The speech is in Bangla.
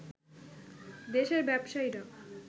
দেশের ব্যবসায়ীরা